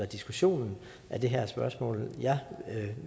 diskussion af det her spørgsmål jeg